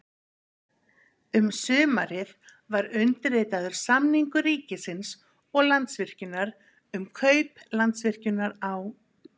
Um sumarið var undirritaður samningur ríkisins og Landsvirkjunar um kaup Landsvirkjunar á